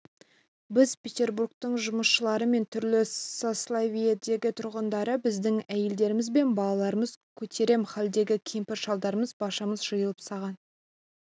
біз петербургтың жұмысшылары мен түрлі сословиедегі тұрғындары біздің әйелдеріміз бен балаларымыз көтерем халдегі кемпір-шалдарымыз баршамыз жиылып саған